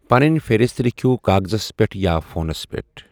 پنٕنۍ فہرست لیٚکِھو کاغذس پیٚٹھ یا فونس پیٚٹھ ۔